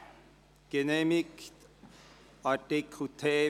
Wir kommen zum Traktandum 47: